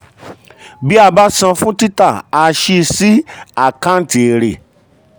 bí a bá san fún tita a sì sí àkáǹtì èrè.